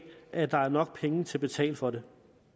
at der er nok penge til at betale for det